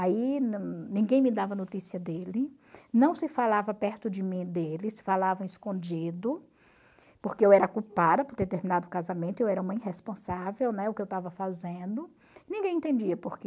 Aí ninguém me dava notícia dele, não se falava perto de mim dele, se falava escondido, porque eu era culpada por ter terminado o casamento, eu era uma irresponsável, né, o que eu estava fazendo, ninguém entendia porquê.